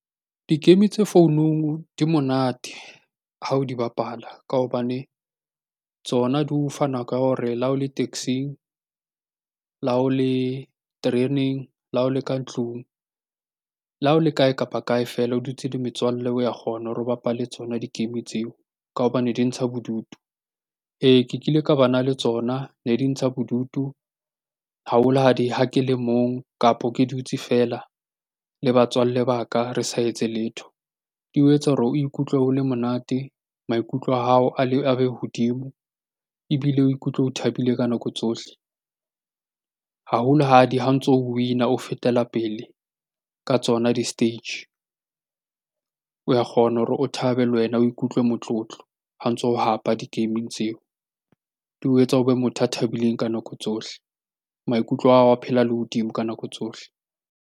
Di-game tse founung di monate ha o di bapala ka hobane tsona di o fa nako ya hore la ho le taxing, la o le tereneng, la o le ka ntlung, le ha o le kae kapa kae feela o dutse le metswalle o ya kgona hore o bapale tsona di-game tseo ka hobane di ntsha bodutu. Ee, ke kile ka bana le tsona. Ne di ntsha bodutu haholo ha di, ha ke le mong kapo ke dutse feela le batswalle ba ka re sa etse letho. Di o etsa hore o ikutlwe o le monate, maikutlo a hao a be hodimo, ebile o ikutlwe o thabile ka nako tsohle. Haholo ha o ntso o win-a, o fetela pele ka tsona di-stage. O ya kgona hore o thabe le wena o ikutlwe motlotlo ha ntso o hapa di-gaming tseo. Di o etsa o be motho a thabileng ka nako tsohle. Maikutlo a hao a phela a le hodimo ka nako tsohle.